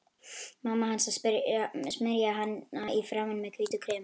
Mamma hans að smyrja hana í framan með hvítu kremi.